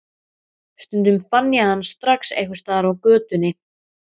Stundum fann ég hann strax einhvers staðar í götunni.